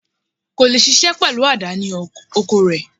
Kò leè ṣiṣẹ́ pẹ̀lú àdá ní oko rẹ̀